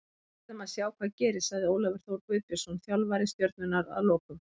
Við verðum að sjá hvað gerist, sagði Ólafur Þór Guðbjörnsson þjálfari Stjörnunnar að lokum.